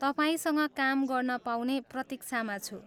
तपाईँसँग काम गर्न पाउने प्रतिक्षामा छु।